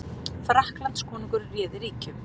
Frakklandskonungur réði ríkjum